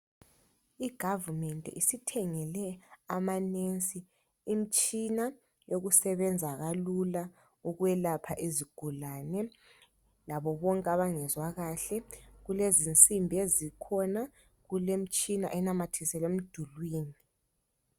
Uhulumende usethengele omongikazi imitshina yokusebenza kalula ukwelapha izigulane labobonke abangezwa kahle. Kulezinsimbi ezikhona kulemitshina enamathiselwe emdulini.